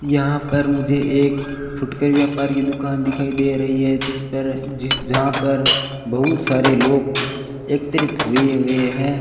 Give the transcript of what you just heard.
यहां पर मुझे एक फुटकर व्यापार की दुकान दिखाई दे रही है जिस पर जहां पर बहुत सारे लोग एकत्रित होए हुए हैं।